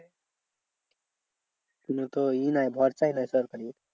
কোনো তো ই নাই ভরসাই নেই সরকারি।